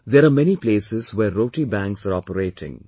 There are many places where 'Roti Banks' are operating